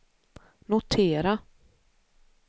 notera